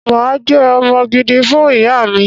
Mà á jẹ́ ọmọ gidi fún ìyá mi